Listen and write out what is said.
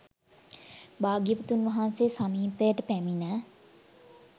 භාග්‍යවතුන් වහන්සේ සමීපයට පැමිණ